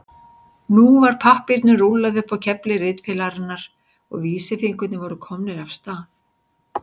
Nú var pappírnum rúllað upp á kefli ritvélarinnar og vísifingurnir voru komnir af stað.